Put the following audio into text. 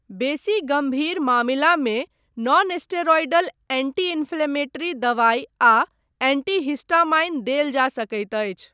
बेसी गम्भीर मामिलामे नॉनस्टेरॉयडल एंटी इंफ्लेमेटरी दवाइ आ एंटीहिस्टामाइन देल जा सकैत अछि।